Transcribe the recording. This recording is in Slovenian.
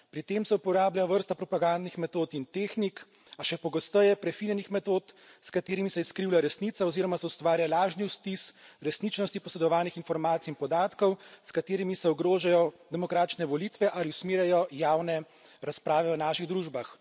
Pri tem se uporablja vrsta propagandnih metod in tehnik, a še pogosteje prefinjenih metod, s katerimi se izkrivlja resnica oziroma se ustvarja lažni vtis resničnosti posredovanih informacij in podatkov, s katerimi se ogrožajo demokratične volitve ali usmerjajo javne razprave v naših družbah.